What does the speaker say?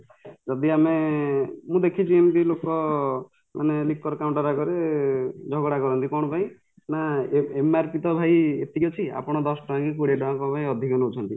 ଯଦି ଆମେ ମୁଁ ଦେଖିଚି ଏମିତି ଲୋକ ମାନେ licker counter ଆଗରେ ଝଗଡା କରନ୍ତି କ'ଣ ପାଇଁ ନା MRP ତ ଭାଇ ଏତିକି ଅଛି ଆପଣ ଭାଇ ଦଶଟଙ୍କାକି କୋଡିଏଟଙ୍କା କ'ଣ ଅଧିକକି ନଉଛନ୍ତି